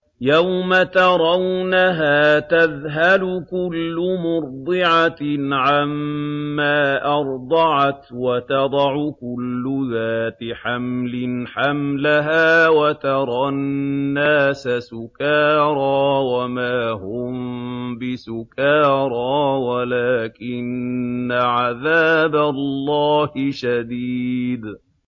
يَوْمَ تَرَوْنَهَا تَذْهَلُ كُلُّ مُرْضِعَةٍ عَمَّا أَرْضَعَتْ وَتَضَعُ كُلُّ ذَاتِ حَمْلٍ حَمْلَهَا وَتَرَى النَّاسَ سُكَارَىٰ وَمَا هُم بِسُكَارَىٰ وَلَٰكِنَّ عَذَابَ اللَّهِ شَدِيدٌ